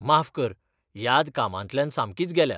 माफ कर, याद कामांतल्यान सामकीच गेल्या.